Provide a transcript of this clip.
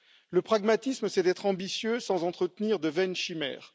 Le pragmatisme, c'est d'être ambitieux sans entretenir de vaines chimères.